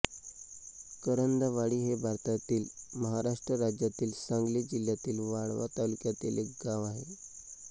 करंदवाडी हे भारतातील महाराष्ट्र राज्यातील सांगली जिल्ह्यातील वाळवा तालुक्यातील एक गाव आहे